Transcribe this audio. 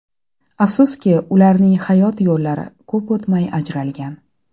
Afsuski, ularning hayot yo‘llari ko‘p o‘tmay ajralgan.